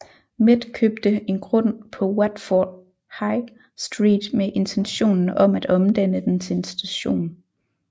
Met købte en grund på Watford High Street med intentionen om at omdanne den til en station